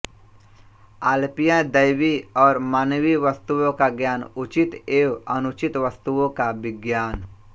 आल्पियन दैवी और मानवीय वस्तुओं का ज्ञान उचित एवं अनुचित वस्तुओं का विज्ञान